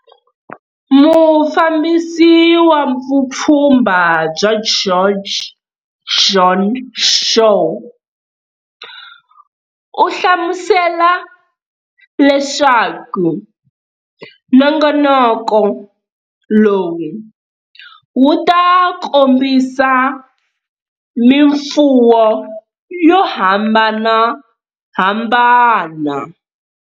Mufambisi wa Vupfhumba bya George Joan Shaw u hlamusela leswaku nongonoko lowu wu ta kombisa mifuwo yo hambanahambana.